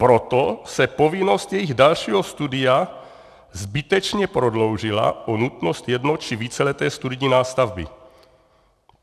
Proto se povinnost jejich dalšího studia zbytečně prodloužila o nutnost jedno- či víceleté studijní nástavby.